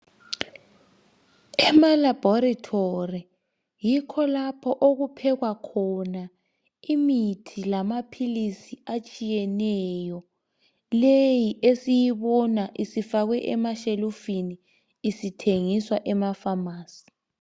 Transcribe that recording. Emalabholatoli yikho lapho okuphekwa khona imithi lama philizi atshiyeneyo leyi esiyibona isifakwe emashelufini isithengiswa emafamasi.